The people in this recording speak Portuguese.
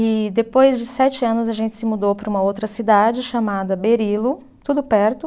E depois de sete anos a gente se mudou para uma outra cidade chamada Berilo, tudo perto.